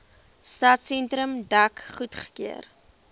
stadsentrum dek goedgekeur